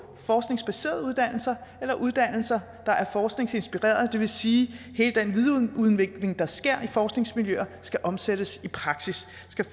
forskningsbaserede uddannelser eller uddannelser der er forskningsinspirerede det vil sige at der sker i forskningsmiljøer skal omsættes i praksis